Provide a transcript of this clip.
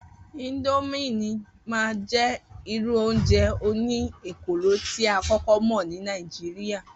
Idomine máa jẹ́ irú oúnjẹ òní ekòló tí a kókó mọ ní Nàìjíríà